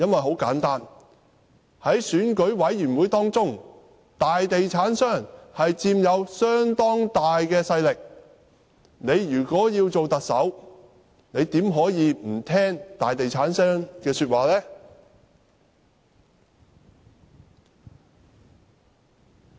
很簡單，在選舉委員會當中，大地產商的勢力相當大，如果他想擔任特首，怎可以不聽從大地產商的說話？